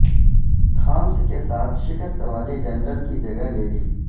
Thomas کے ساتھ شکست والے جنرل کی جگہ لے لی